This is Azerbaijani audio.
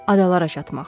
Adalara çatmaq.